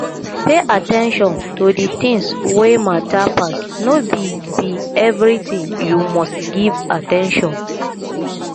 pay at ten tion to di things wey matter pass no be be everything you must give at ten tion